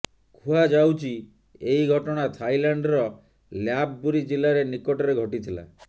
କୁହାଯାଉଛି ଏହି ଘଟଣା ଥାଇଲାଣ୍ଡର ଲ୍ୟାପ ବୁରୀ ଜିଲ୍ଲାରେ ନିକଟରେ ଘଟିଥିଲା